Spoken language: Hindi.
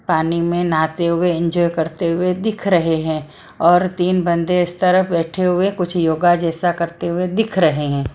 पानी में नहाते हुए एंजॉय करते हुए दिख रहे हैं और तीन बंदे इस तरफ बैठे हुए कुछ योगा जैसा करते हुए दिख रहे हैं।